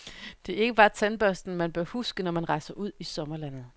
Det er ikke bare tandbørsten, man bør huske, når man rejser ud i sommerlandet.